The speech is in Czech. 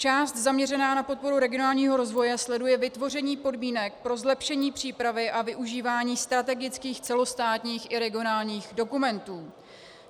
Část zaměřená na podporu regionálního rozvoje sleduje vytvoření podmínek pro zlepšení přípravy a využívání strategických celostátních i regionálních dokumentů.